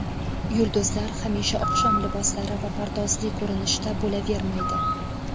Yulduzlar hamisha oqshom liboslari va pardozli ko‘rinishda bo‘lavermaydi.